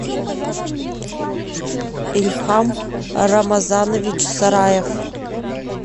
ильхам рамазанович сараев